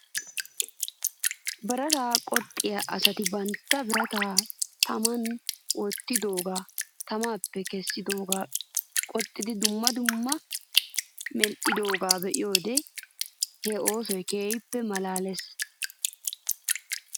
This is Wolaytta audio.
Birataa qoxxiyaa asati bantta birataa taman wottidoogaa tamaappe kessidoogaa qoxxidi dumma dummabaa medhdhiyoogaa be'iyoo wodiyan he oosoy keehippe malaales .